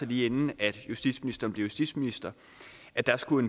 lige inden justitsministeren blev justitsminister at der skulle